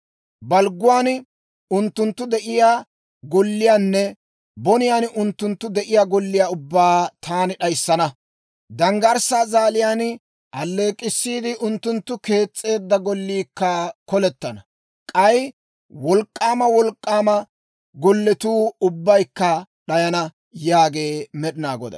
Balgguwaan unttunttu de'iyaa golliyaanne boniyaan unttunttu de'iyaa golliyaa ubbaa taani d'ayissana. Danggarssaa zaaliyaan alleek'k'issiide, unttunttu kees's'eedda golliikka kolettana; k'ay wolk'k'aama wolk'k'aama golletuu ubbaykka d'ayana» yaagee Med'inaa Goday.